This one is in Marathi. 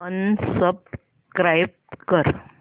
अनसबस्क्राईब कर